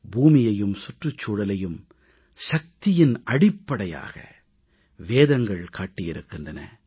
பூமியையும் சுற்றுச்சூழலையும் சக்தியின் அடிப்படையாக வேதங்கள் காட்டியிருக்கின்றன